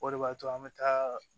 O de b'a to an bɛ taa